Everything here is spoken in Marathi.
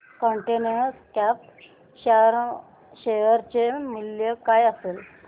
कंटेनर कॉर्प शेअर चे मूल्य काय असेल